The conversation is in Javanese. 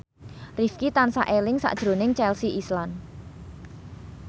Rifqi tansah eling sakjroning Chelsea Islan